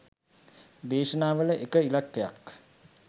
දේශනාවල එක ඉලක්කයක්.